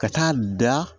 Ka taa da